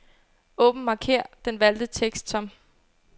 Åbn markér den valgte tekst som.